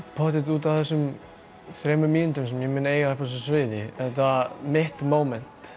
pottþétt út af þessum þremur mínútum sem ég mun eiga uppi á þessu sviði þetta mitt